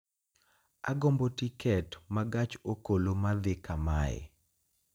Agombo tiket ma gach okoloma dhi kamae